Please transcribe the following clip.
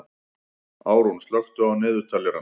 Árún, slökktu á niðurteljaranum.